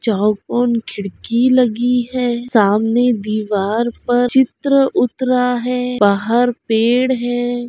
चाहो कोन खिड़की लगी है। सामने दीवार पर चित्र उतरा है। बाहर पेड़ है।